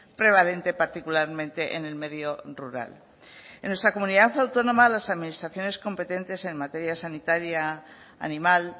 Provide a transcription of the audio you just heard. prevalente particularmente en el medio rural en nuestra comunidad autónoma las administraciones competentes en materia sanitaria animal